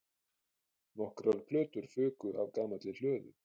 Nokkrar plötur fuku af gamalli hlöðu